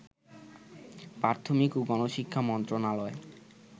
প্রাথমিক ও গণশিক্ষা মন্ত্রণালয়